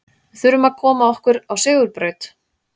Við þurfum að koma okkur á sigurbraut.